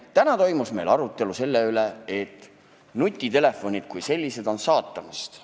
Täna toimus meil arutelu selle üle, et nutitelefonid kui sellised on saatanast.